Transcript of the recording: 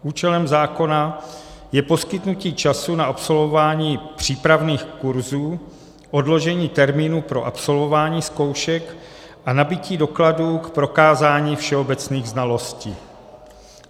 Účelem zákona je poskytnutí času na absolvování přípravných kurzů, odložení termínů pro absolvování zkoušek a nabytí dokladu k prokázání všeobecných znalostí.